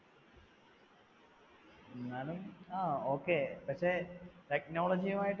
എന്നാലും ആ okay പക്ഷേ, technology യും ആയിട്ട്